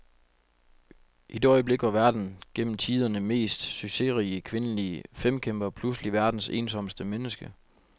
I det øjeblik var verdens gennem tiderne mest succesrige kvindelige femkæmper pludselig verdens ensomste menneske.